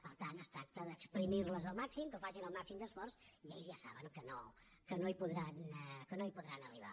per tant es tracta d’esprémerles al màxim que facin el màxim d’esforç i ells ja saben que no hi podran arribar